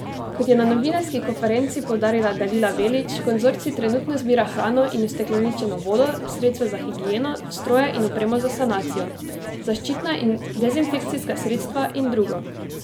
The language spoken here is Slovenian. Kot je na novinarski konferenci poudarila Dalila Velić, konzorcij trenutno zbira hrano in ustekleničeno vodo, sredstva za higieno, stroje in opremo za sanacijo, zaščitna in dezinfekcijska sredstva in drugo.